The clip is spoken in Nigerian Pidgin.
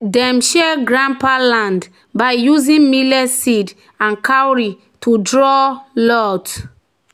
"dem share grandpa land by using millet seed and cowrie to draw lot."